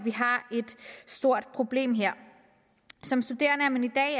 stort problem her som studerende er man